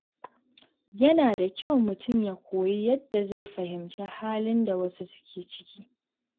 Yana da kyau mutum ya koyi yadda zai fahimci halin da wasu suke ciki.